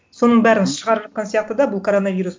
соның бәрін шығарып жатқан сияқты да бұл коронавирус